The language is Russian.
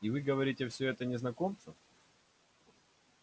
и вы говорите всё это незнакомцу